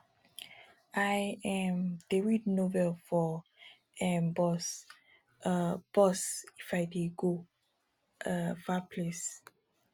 i um dey read novel for um bus um bus if i dey go um far place